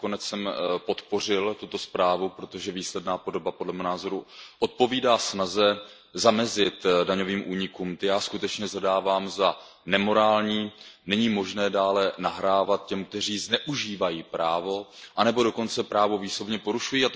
Nakonec jsem podpořil tuto zprávu, protože výsledná podoba, podle mého názoru, odpovídá snaze zamezit daňovým únikům. Ty já skutečně shledávám za nemorální, není možné dále nahrávat těm, kteří zneužívají právo anebo dokonce právo výslovně porušují.